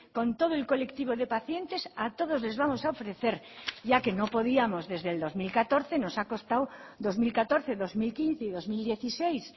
con todo el colectivo de pacientes a todos les vamos a ofrecer ya que no podíamos desde el dos mil catorce nos ha costado dos mil catorce dos mil quince y dos mil dieciséis